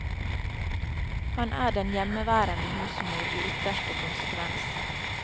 Han er den hjemmeværende husmor i ytterste konsekvens.